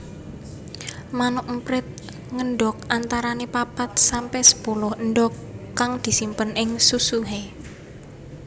Manuk emprit ngendhog antarane papat sampe sepuluh endhog kang disimpen ing susuhé